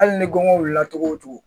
Hali ni gɔbɔni wulila togo togo